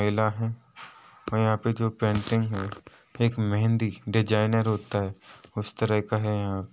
महिला है और यहाँ पे जो पेंटिंग है एक मेहँदी डिज़ाइनर होता है उस तरह का है यहाँ।